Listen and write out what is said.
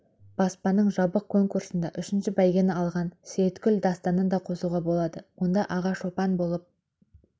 баспасының жабық конкурсында үшінші бәйгені алған сейіткүл дастанын да қосуға болады онда аға шопан болып